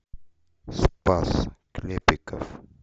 спас клепиков